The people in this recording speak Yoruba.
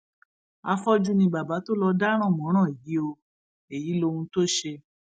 afọjú ni bàbá tó lọọ dáràn mọrán yìí o èyí èyí lóhun tó ṣe